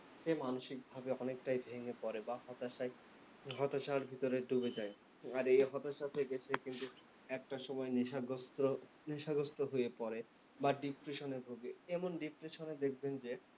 সে মানসিকভাবে অনেকটাই ভেঙে পরে বা হতাশায়, হতাশার ভিতরে ডুবে যায়। আর এই হতাশায় থেকে কিন্তু একটা সময় নেশাগ্রস্থ, নেশাগ্রস্থ হয়ে পরে বা depression এ ভোগে। এমন depression দেখবেন যে,